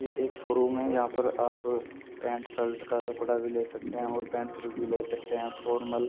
ये एक शोरूम है यहां पर आप पैंट शर्ट का कपड़ा भी ले सकते हैं और पेंट शर्ट भी ले सकते हैं फॉर्मल --